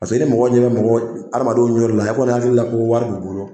Paseke ni mɔgɔ ɲɛ bɛ mɔgɔw adamadenw ye yɔrɔ la o hakilila ko wari b'u bolo